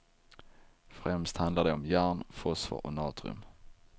Främst handlar det om järn, fosfor och natrium.